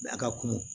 A ka kunun